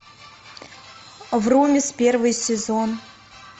врумиз первый сезон